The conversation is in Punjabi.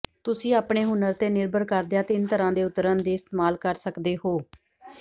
ਤੁਸੀਂ ਆਪਣੇ ਹੁਨਰ ਤੇ ਨਿਰਭਰ ਕਰਦਿਆਂ ਤਿੰਨ ਤਰ੍ਹਾਂ ਦੇ ਉਤਰਨ ਦੇ ਇਸਤੇਮਾਲ ਕਰ ਸਕਦੇ ਹੋ